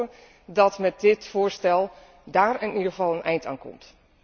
We hopen dat met dit voorstel dáár in ieder geval een eind aan komt.